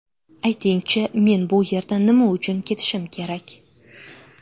Ayting-chi, men bu yerdan nima uchun ketishim kerak?